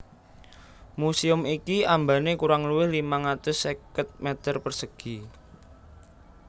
Museum iki ambane kurang luwih limang atus seket m persegi